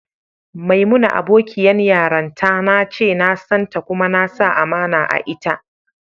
Maimuna abokiyan yaranta na ce, na san ta kuma na sa amana a'ita.